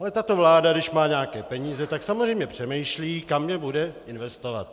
Ale tato vláda, když má nějaké peníze, tak samozřejmě přemýšlí, kam je bude investovat.